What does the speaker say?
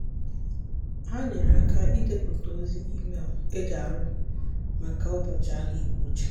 ha nyere aka idepụta ozi email eji arịọ maka ụbọchị ahụike uche.